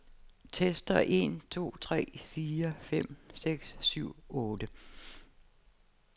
Tester en to tre fire fem seks syv otte.